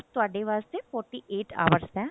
ਤੁਹਾਡੇ ਵਾਸਤੇ forty eight hours ਦਾ